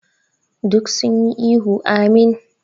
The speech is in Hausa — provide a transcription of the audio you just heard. Duk sun yi ihu "Ameen".